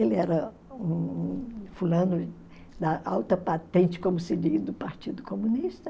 Ele era um fulano da alta patente, como se diz, do Partido Comunista.